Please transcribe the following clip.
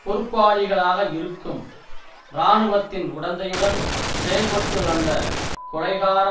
பொறுப்பாளிகளாக இருக்கும் இராணுவத்தின் உடந்தையுடன் செயல்பட்டுவந்த கொலைகார